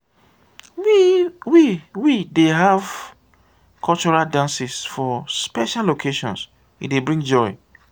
we we dey have cultural dances for special occasions e dey bring joy.